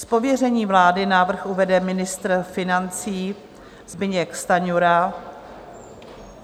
Z pověření vlády návrh uvede ministr financí Zbyněk Stanjura.